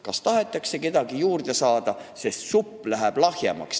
Kas tahetakse kedagi juurde saada, kui supp läheb lahjemaks?